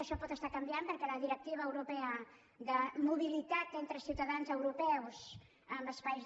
això pot estar canviant perquè la directiva europea de mobilitat entre ciutadans europeus en espais